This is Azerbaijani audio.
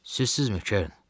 Sizsizmi, Keren?